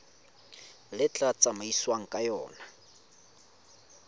le tla tsamaisiwang ka yona